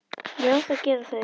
Já, það gera þeir.